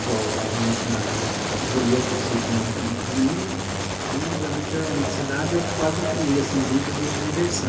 Igual, eu geralmente na, eu vou ia para o sítio no no domingo, então, geralmente, eu ia na cidade, eu quase não criei, assim, vínculo de diversão.